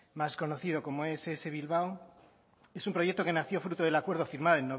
más conocido como ess bilbao es un proyecto que nació fruto del acuerdo firmado